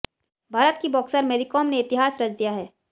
भारत की बॉक्सर मैरी कॉम ने इतिहास रच दिया है